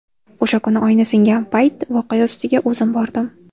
O‘sha kuni oyna singan payt voqea ustiga o‘zim bordim.